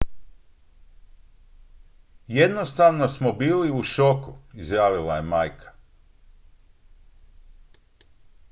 """jednostavno smo bili u šoku" izjavila je majka.